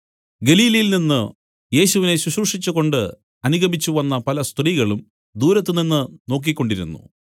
ഗലീലയിൽ നിന്നു യേശുവിനെ ശുശ്രൂഷിച്ചുകൊണ്ട് അനുഗമിച്ചുവന്ന പല സ്ത്രീകളും ദൂരത്തുനിന്ന് നോക്കിക്കൊണ്ടിരുന്നു